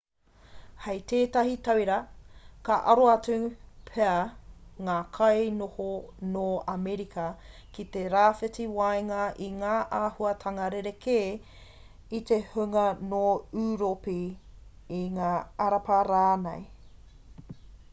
hei tētahi tauira ka aro atu pea ngā kainoho nō amerika ki te rāwhiti waenga i ngā āhuatanga rerekē i te hunga nō ūropi i ngā arapa rānei